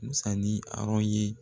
Musa ni Arɔ ye